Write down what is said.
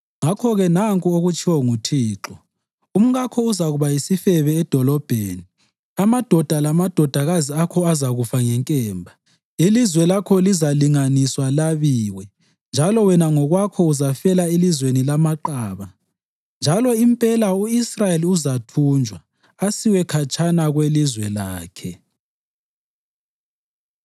Ngakho-ke nanku okutshiwo nguThixo: ‘Umkakho uzakuba yisifebe edolobheni, amadoda lamadodakazi akho azakufa ngenkemba. Ilizwe lakho lizalinganiswa labiwe, njalo wena ngokwakho uzafela elizweni lamaqaba. Njalo impela u-Israyeli uzathunjwa asiwe khatshana kwelizwe lakhe.’ ”